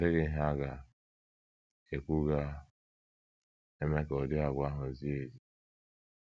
Ọ dịghị ihe a ga - ekwu ga - eme ka ụdị àgwà ahụ zie ezi. ”